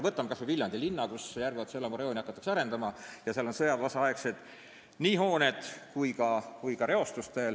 Võtame näiteks Viljandi linna, kus hakatakse Järveotsa elamurajooni arendama ja kus on veel alles sõjaväeosa hooned ja on ka reostust.